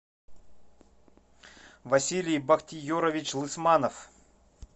василий бахтиерович лысманов